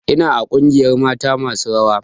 Ina a ƙungiyar mata masu rawa